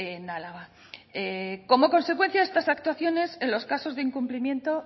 en álava como consecuencia de estas actuaciones en los casos de incumplimiento